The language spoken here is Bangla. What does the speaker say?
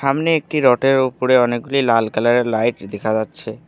সামনে একটি রট -এর ওপরে অনেকগুলি লাল কালার -এর লাইট দেখা যাচ্ছে।